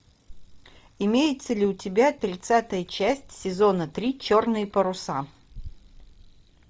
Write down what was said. имеется ли у тебя тридцатая часть сезона три черные паруса